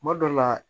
Kuma dɔ la